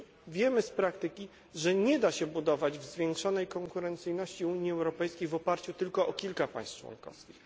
Wiemy już z praktyki, że nie da się budować zwiększonej konkurencyjności Unii Europejskiej w oparciu tylko o kilka państw członkowskich.